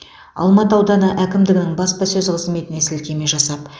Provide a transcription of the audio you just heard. алматы ауданы әкімдігінің баспасөз қызметіне сілтеме жасап